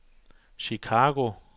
Chicago